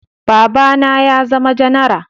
Baba na ya zama janara